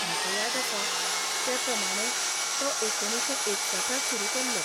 म्हाका याद आसा ते प्रमाणें तो एकुणशे एकसठांत सुरू केल्लो.